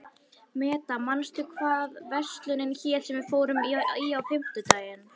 Meda, manstu hvað verslunin hét sem við fórum í á fimmtudaginn?